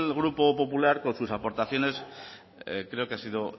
grupo popular con sus aportaciones creo que ha sido